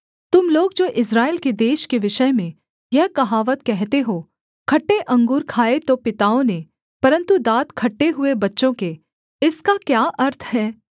तुम लोग जो इस्राएल के देश के विषय में यह कहावत कहते हो खट्टे अंगूर खाए तो पिताओं ने परन्तु दाँत खट्टे हुए बच्चों के इसका क्या अर्थ है